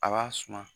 A b'a suma